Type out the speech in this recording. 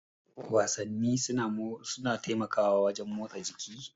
Wasanni suna taimakawa wurin motsa jiki.